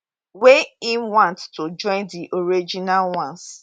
wey im want to join di original ones